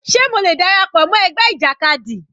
Sé mo lè dára pọ̀ mọ́ ẹgbẹ́ ìjàkadì?